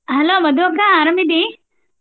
Hello Madhu ಅಕ್ಕಾ ಆರಾಮಿದ್ದಿ?